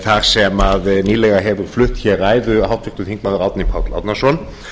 þar sem nýlega hefur flutt hér ræðu háttvirts þingmanns árni páll árnason